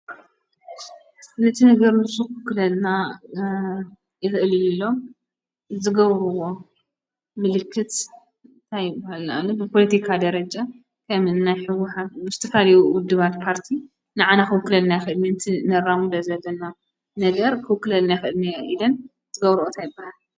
ነቲ ነገር ንሱ ክውክለልና ይኽእል ኢሎም ዝገብርዎ ምልክት እንታይ ይባሃል? ንኣብነት ብፖለቲካ ደረጃ ከም እን ህወሓት ንምሳሊኡ ውድባት ፖርቲ ንዓና ኽውክለልና ይኽእል እዩ እቲ ነራምዶ ዘለና ነገር ኽውክለልና ይኽእል እዩ ኢለን ዝገብርኦ ታይ ይበሃል?